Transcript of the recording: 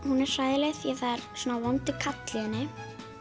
hún er hræðileg af því það er svona vondur kall í henni